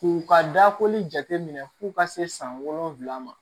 K'u ka dakoli jateminɛ f'u ka se san wolonwula ma